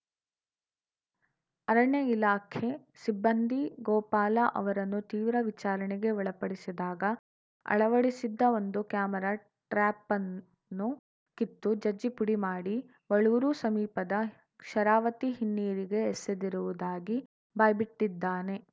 ಅರಣ್ಯ ಇಲಾಖೆ ಸಿಬ್ಬಂದಿ ಗೋಪಾಲ ಅವರನ್ನು ತೀವ್ರ ವಿಚಾರಣೆಗೆ ಒಳಪಡಿಸಿದಾಗ ಅಳವಡಿಸಿದ್ದ ಒಂದು ಕ್ಯಾಮರಾ ಟ್ರ್ಯಾಪನ್ನು ಕಿತ್ತು ಜಜ್ಜಿ ಪುಡಿ ಮಾಡಿ ವಳೂರು ಸಮೀಪದ ಶರಾವತಿ ಹಿನ್ನೀರಿಗೆ ಎಸೆದಿರುವುದಾಗಿ ಬಾಯ್ಬಿಟ್ಟಿದ್ದಾನೆ